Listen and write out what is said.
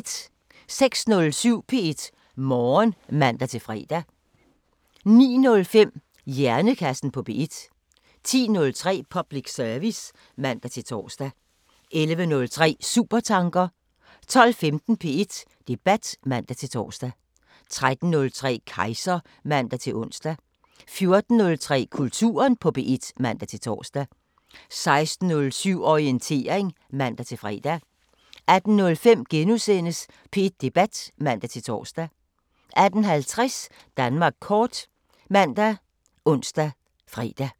06:07: P1 Morgen (man-fre) 09:05: Hjernekassen på P1 10:03: Public service (man-tor) 11:03: Supertanker 12:15: P1 Debat (man-tor) 13:03: Kejser (man-ons) 14:03: Kulturen på P1 (man-tor) 16:07: Orientering (man-fre) 18:05: P1 Debat *(man-tor) 18:50: Danmark kort ( man, ons, fre)